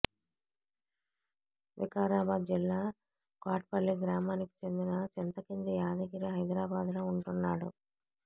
వికరాబాద్ జిల్లా కోట్పల్లి గ్రామానికి చెందిన చింతకింది యాదగిరి హైదరాబాద్లో ఉంటున్నాడు